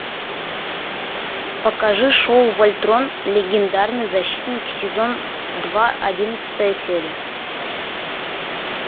покажи шоу вольтрон легендарный защитник сезон два одиннадцатая серия